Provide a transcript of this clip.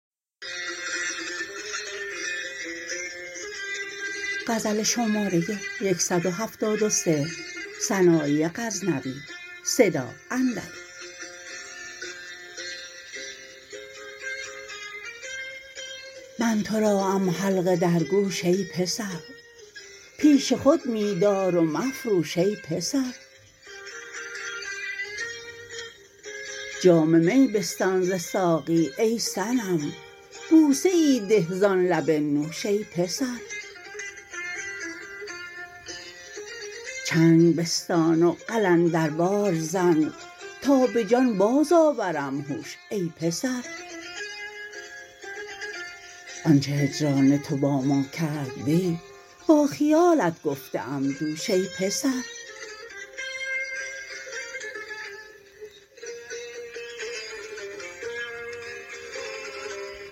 من تو را ام حلقه در گوش ای پسر پیش خود می دار و مفروش ای پسر جام می بستان ز ساقی ای صنم بوسه ای ده زان لب نوش ای پسر چنگ بستان و قلندروار زن تا به جان باز آورم هوش ای پسر آن چه هجران تو با ما کرد دی با خیالت گفته ام دوش ای پسر